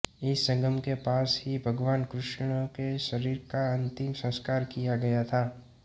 इस संगम के पास ही भगवान कृष्ण के शरीर का अंतिम संस्कार किया गया था